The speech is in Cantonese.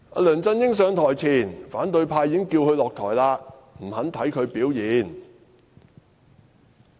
梁振英上台前，反對派已經叫他下台，不肯看他表現......